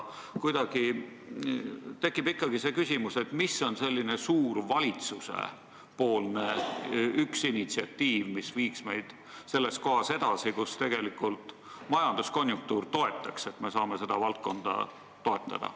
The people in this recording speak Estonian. Aga tekib ikkagi see küsimus, mis on valitsuse üks suur initsiatiiv, mis viiks meid edasi sellest kohast, kus tegelikult majanduskonjunktuur toetab sellele valdkonnale toetuse andmist.